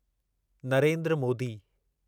Narendra Modi